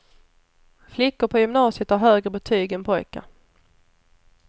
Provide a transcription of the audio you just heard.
Flickor på gymnasiet har högre betyg än pojkar.